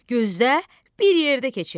Gözlə, bir yerdə keçək.